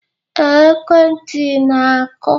Ee, ekwentị na-akụ